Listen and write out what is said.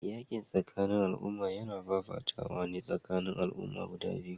Yakin tsakanin al'umma yana fafatawa ne tsakanin al'umma guda biyu